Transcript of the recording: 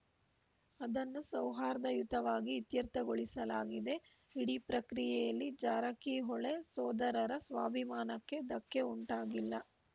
ಅದನ್ನು ಸೌಹಾರ್ದಯುತವಾಗಿ ಇತ್ಯರ್ಥಗೊಳಿಸಲಾಗಿದೆ ಇಡೀ ಪ್ರಕ್ರಿಯೆಯಲ್ಲಿ ಜಾರಕಿಹೊಳೆ ಸೋದರರ ಸ್ವಾಭಿಮಾನಕ್ಕೆ ಧಕ್ಕೆ ಉಂಟಾಗಿಲ್ಲ